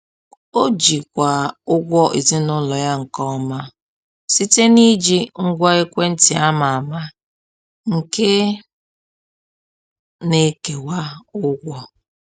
Ọ jikwaa ụgwọ ezinụlọ ya nke ọma site n’iji ngwa ekwentị ama ama nke na-ekewa ụgwọ.